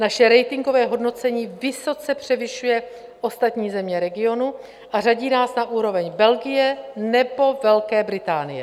Naše ratingové hodnocení vysoce převyšuje ostatní země regionu a řadí nás na úroveň Belgie nebo Velké Británie.